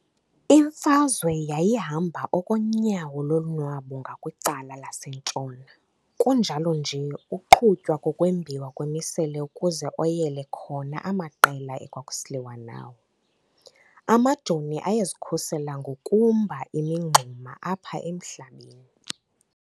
Imfazwe yayihamba okonyawo lonwabu ngakwicala lasentshona kunjalo nje uqhutywa ngokwembiwa kwemisele ukuze oyele khona amaqela ekwakusiliwa nawo, amajoni ayezikhusela ngokumba imingxuma apha emhlabeni.